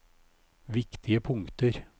viktige punkter